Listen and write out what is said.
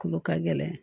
Kolo ka gɛlɛn